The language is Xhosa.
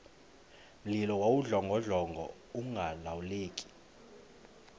mlilo wawudlongodlongo ungalawuleki